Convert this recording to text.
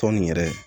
Tɔn nin yɛrɛ